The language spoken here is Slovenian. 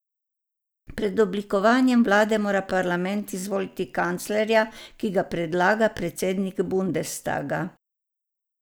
Pred oblikovanjem vlade mora parlament izvoliti kanclerja, ki ga predlaga predsednik bundestaga.